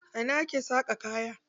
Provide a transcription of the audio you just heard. A ina ake saƙa kaya?